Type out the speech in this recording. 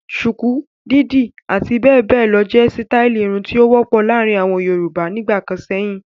Ṣùkú, dídì àti bẹ́ẹ̀ bẹ́ẹ̀ lọ jẹ́ sítáálì irun tó wọ́pọ̀ láàárin àwọn Yorùbá nígbà kan sẹ́yìn.